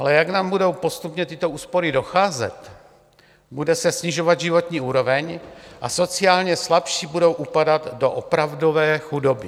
Ale jak nám budou postupně tyto úspory docházet, bude se snižovat životní úroveň a sociálně slabší budou upadat do opravdové chudoby.